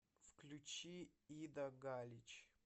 включи ида галич